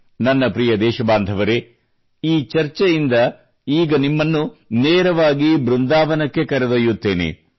ನನ್ನ ಪ್ರಿಯ ದೇಶಬಾಂಧವರೆ ಈ ಚರ್ಚೆಯಿಂದ ಈಗ ನಿಮ್ಮನ್ನು ನೇರವಾಗಿ ಬೃಂದಾವನಕ್ಕೆ ಕರೆದೊಯ್ಯುತ್ತೇನೆ